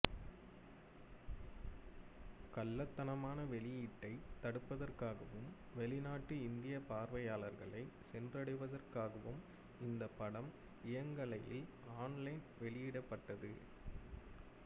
கள்ளத்தனமான வெளியீட்டைத் தடுப்பதற்காகவும் வெளிநாட்டு இந்திய பார்வையாளர்களை சென்றடைவதற்காகவும் இந்த படம் இயங்கலையில் ஆன்லைன் வெளியிடப்பட்டது